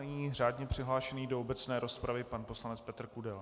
Nyní řádně přihlášený do obecné rozpravy pan poslanec Petr Kudela.